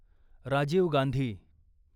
Rajiv Gandhi